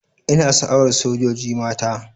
Ina sha'awar sojoji mata.